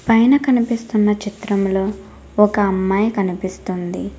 పైన కనిపిస్తున్న చిత్రంలో ఒక అమ్మాయి కనిపిస్తుంది.